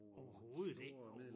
Overhovedet ikke